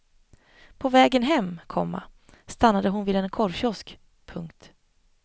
På vägen hem, komma stannade hon vid en korvkiosk. punkt